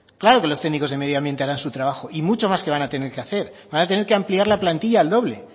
claro que los técnicos de medio ambiente harán su trabajo y mucho más que van a tener que hacer van a tener que ampliar la plantilla al doble